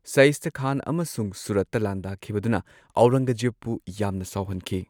ꯁꯩꯁ꯭ꯇꯥ ꯈꯥꯟ ꯑꯃꯁꯨꯡ ꯁꯨꯔꯠꯇ ꯂꯥꯟꯗꯥꯈꯤꯕꯗꯨꯅ ꯑꯧꯔꯪꯒꯖꯦꯕꯄꯨ ꯌꯥꯝꯅ ꯁꯥꯎꯍꯟꯈꯤ꯫